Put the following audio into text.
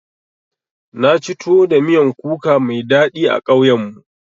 Naci tuwo da miyan kuka mai daɗi a ƙauyen mu.